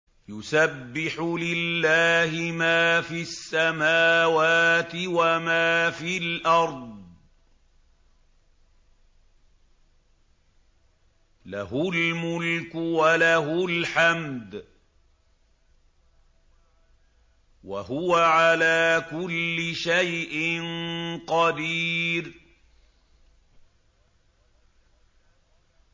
يُسَبِّحُ لِلَّهِ مَا فِي السَّمَاوَاتِ وَمَا فِي الْأَرْضِ ۖ لَهُ الْمُلْكُ وَلَهُ الْحَمْدُ ۖ وَهُوَ عَلَىٰ كُلِّ شَيْءٍ قَدِيرٌ